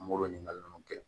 N b'olu ɲininkali nunnu kɛ